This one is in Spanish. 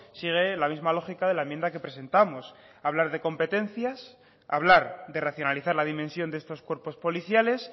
sigue la misma lógica de la enmienda que presentamos hablar de competencias hablar de racionalizar la dimensión de estos cuerpos policiales